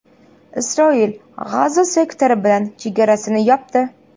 Isroil G‘azo sektori bilan chegarasini yopdi.